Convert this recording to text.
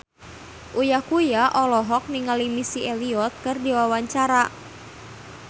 Uya Kuya olohok ningali Missy Elliott keur diwawancara